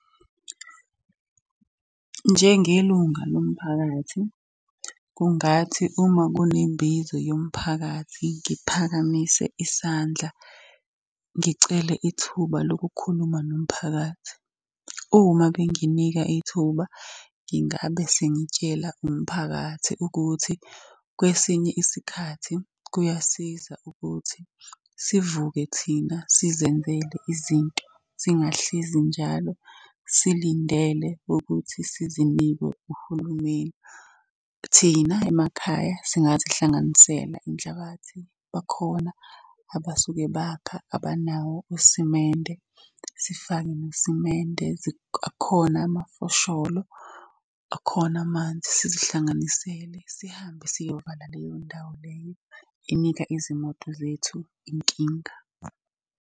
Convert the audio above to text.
Njengelunga lo mphakathi, kungathi uma kunembizo yomphakathi ngiphakamise isandla, ngicele ithuba lokukhuluma nomphakathi. Uma benginika ithuba ngingabe sengitshela umphakathi ukuthi, kwesinye isikhathi kuyasiza ukuthi sivuke thina sizenzele izinto singahlezi njalo silindele ukuthi sizinikwe uhulumeni. Thina emakhaya singazihlanganisela inhlabathi bakhona abasuke bakha abanawo usimende, sifake nosimende. Akhona amafosholo, akhona amanzi sizihlanganisele sihambe siyovala leyo ndawo leyo enika izimoto zethu inkinga.